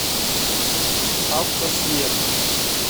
автосвет